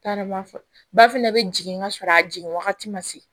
T'a dɔn ba fana bɛ jigin ka sɔrɔ a jigin wagati ma se